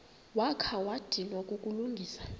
wakha wadinwa kukulungisa